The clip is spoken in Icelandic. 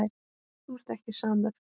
Þú ert ekki samur.